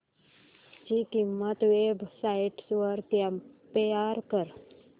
ची किंमत website वर कम्पेअर कर